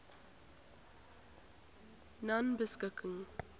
nonebeskikking